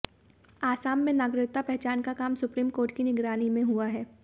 असम में नागरिकता पहचान का काम सुप्रीम कोर्ट की निगरानी में हुआ है